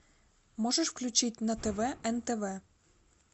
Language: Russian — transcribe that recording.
можешь включить на тв нтв